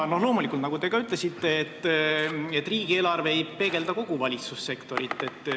Loomulikult, nagu te ka ütlesite, riigieelarve ei peegelda kogu valitsussektorit.